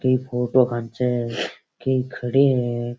एक फोटो खेंच है कई खड़े है।